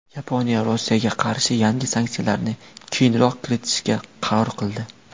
Yaponiya Rossiyaga qarshi yangi sanksiyalarni keyinroq kiritishga qaror qildi.